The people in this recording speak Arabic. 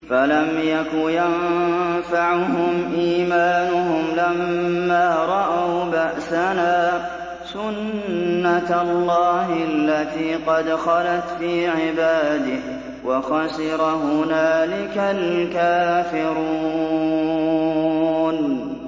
فَلَمْ يَكُ يَنفَعُهُمْ إِيمَانُهُمْ لَمَّا رَأَوْا بَأْسَنَا ۖ سُنَّتَ اللَّهِ الَّتِي قَدْ خَلَتْ فِي عِبَادِهِ ۖ وَخَسِرَ هُنَالِكَ الْكَافِرُونَ